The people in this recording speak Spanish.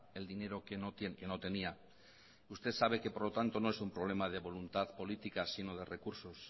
el dinero que no tenía usted sabe que por lo tanto no es un problema de voluntad política sino de recursos